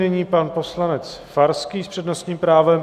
Nyní pan poslanec Farský s přednostním právem.